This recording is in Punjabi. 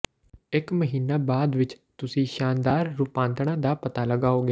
ਇੱਕ ਮਹੀਨਾ ਬਾਅਦ ਵਿੱਚ ਤੁਸੀਂ ਸ਼ਾਨਦਾਰ ਰੂਪਾਂਤਰਣ ਦਾ ਪਤਾ ਲਗਾਓਗੇ